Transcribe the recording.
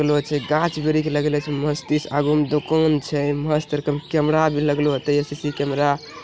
लगलो छे घाच ब्रिछ लगले छे मस्त छे अग्लो में एगो दूकन छे मस्त एगो कैमरा भी लगो ते सी_सी_टी_वी कैमरा --